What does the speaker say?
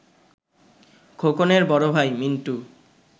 খোকনের বড় ভাই, মিন্টু